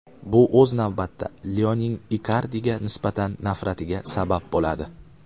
Bu o‘z navbatida Leoning Ikardiga nisbatan nafratiga sabab bo‘ladi.